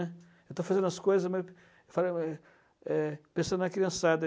Eu estou fazendo as coisas, mas, eu falei, uai eh pensando na criançada.